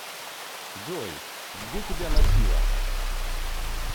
джой где тебя носило